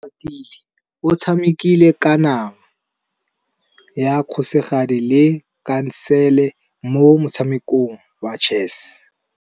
Oratile o tshamekile kananyô ya kgosigadi le khasêlê mo motshamekong wa chess.